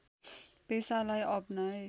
पेसालाई अपनाए